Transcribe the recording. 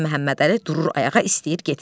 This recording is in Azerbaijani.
Mirzə Məhəmmədəli durur ayağa, istəyir getsin.